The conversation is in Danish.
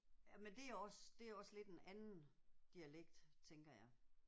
Ja men det er også det er også lidt en anden dialekt tænker jeg